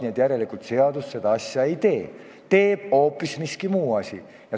Nii et järelikult seadus seda asja ei tee, teeb hoopis miski muu.